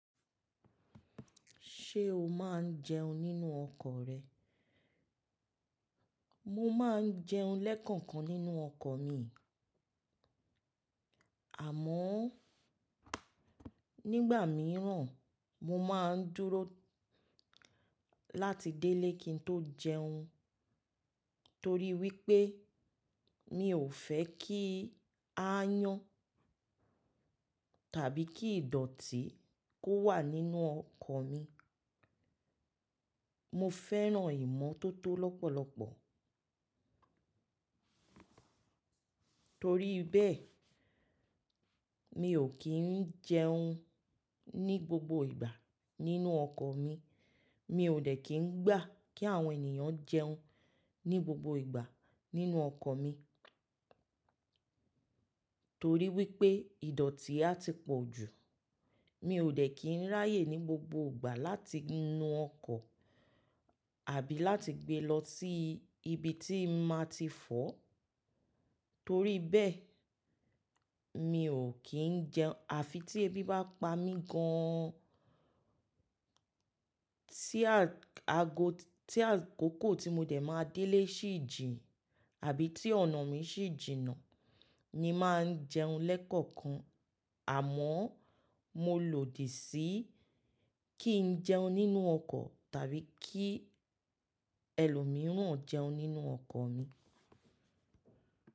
Ṣé o máa ń jẹun nínú ọkọ̀ rẹ? Mo máa ń jẹun lẹ́kọ̀ọ̀kan nínú ọkọ̀ mi, àmọ́ nígbà mìíràn mo máa ń dúró láti délé kí n tó jẹun, torí wípé mi ò fe ki aayán tàbí kí ìdọ̀tí kó wà nínú ọkọ̀ mi. Mo fẹ́ràn ìmọ́tótó lọ́pọ̀lọpọ̀, torí bẹ́ẹ̀ mi ò kí ń jẹun ní gbogbo ìgbà nínú ọkọ̀ mi. Mi ò dẹ̀ kí ń gbà kí àwọn ènìyàn jẹun ní gbogbo ìgbà nínú ọkọ̀ mi, torí wípé ìdọ̀tí a ti pọ̀ jù. Mi ò dẹ̀ kí ń ráyè ní gbogbo ìgbà láti nu ọkọ̀ àbí láti gbe lọ sí ibi tí màá ti fọ̀. Torí bẹ́ẹ̀ mi ò kí ń jẹun, àfi tí ebi bá pa mí gan-an. Tí a-ago-- tí àkókò tí mo dẹ̀ máa délé sì jìn àbí tí ọ̀nà mi sì jìnà, mo máa ń jẹun lẹ́kọ̀ọ̀kan, àmọ́ mo lòdì sí kí n jẹun nínú ọkọ̀ tàbí kí ẹlòmíràn jẹun nínú ọkọ̀ mi.